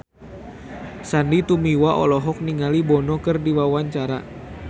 Sandy Tumiwa olohok ningali Bono keur diwawancara